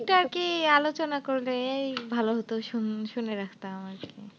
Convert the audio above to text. আলোচনা করলে এই ভালো হত, শুন~ শুনে রাখতাম আরকি।